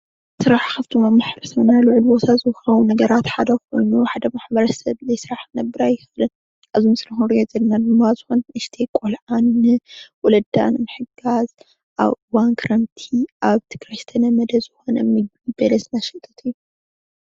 ስራሕ ሓደ መክበረ ልዑል ቦታ ዝወሃቦም ሓደ ኮይኑ ሓደ ማሕበረሰብ ብዘይ ሰራሕ ክነብር ኣይክእልን። እዚ ምስሊ ንሪኦ ዘለና ዝኾነት ንእሽተይ ቆልዓ ንወለዳ ንምሕጋዝ ኣብ እዋን ክረምቲ ኣብ ትግራይ ዝተለመደ በለስ እትሸይጥ ምስሊ እዩ፡፡